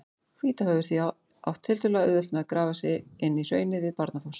Hvítá hefur því átt tiltölulega auðvelt með að grafa sig inn í hraunið við Barnafoss.